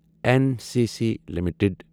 N C C limited